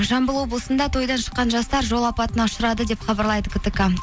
жамбыл облысында тойдан шыққан жастар жол апатына ұшырады деп хабарлайды ктк